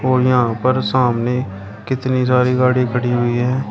और यहाँ पर सामने कितनी सारी गाड़ी खड़ी हुई है।